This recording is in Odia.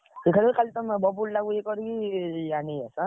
ଦେଖାଯାଉ ଖାଲି ତମେ ବବୁଲ୍ ଟାକୁ ଇଏ କରିକି ଆଣିକି ଆସ ଏଁ।